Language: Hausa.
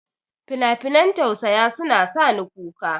Finafinan tausaya suna sa ni kuka.